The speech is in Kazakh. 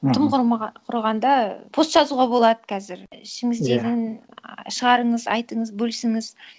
аха тым құрғанда пост жазуға болады қазір ішіңіздегіні ы шығарыңыз айтыңыз бөлісіңіз